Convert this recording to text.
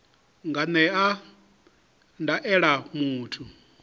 a nga ṅea ndaela muthu